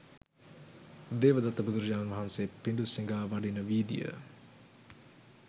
දේවදත්ත බුදුරජාණන් වහන්සේ පිඬු සිඟා වඩින වීදිය